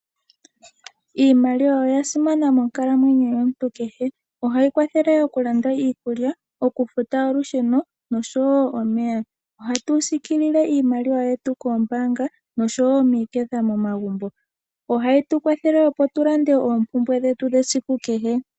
Iimaliwa oyasimana monkalamwenyo yomuntu kehe, ohayi kwathele okulanda iikulya, okufuta olusheno nosho wo omeya. Ohatu siikilile iimaliwa yetu koombaanga nosho wo miiketha momagumbo. Ohayi tukwathele opo tulande oompumbwe dhetu dhesiku kehe.